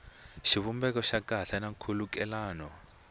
xivumbeko xa kahle na nkhulukelano